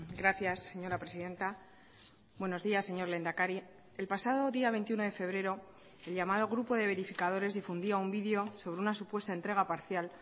gracias señora presidenta buenos días señor lehendakari el pasado día veintiuno de febrero el llamado grupo de verificadores difundía un video sobre una supuesta entrega parcial